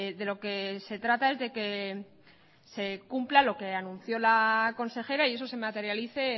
de lo que se trata es de que se cumpla lo que anunció la consejera y eso se materialice